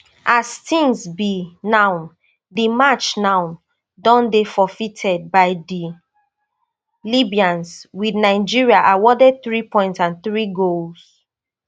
as tins be now di match now don dey forfeited by di libyans wit nigeria awarded three points and three goals